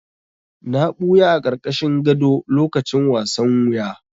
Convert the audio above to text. Na ɓuya a ƙarƙashin gado lokacin wasan wuya.